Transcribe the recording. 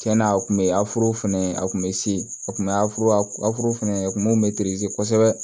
Cɛn na a kun be aforo fɛnɛ a kun bɛ se a kun be aforo fɛnɛ ye kun mun be kosɛbɛ